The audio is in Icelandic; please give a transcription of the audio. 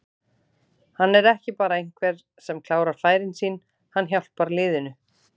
Hann er ekki bara einhver sem klárar færin sín, hann hjálpar liðinu.